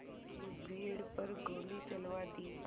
की भीड़ पर गोली चलवा दी